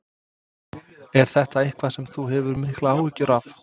Er þetta eitthvað sem þú hefur miklar áhyggjur af?